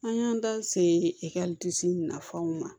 An y'an da se eretasi nafanw ma